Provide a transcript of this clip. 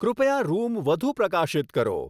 કૃપયા રૂમ વધુ પ્રકાશિત કરો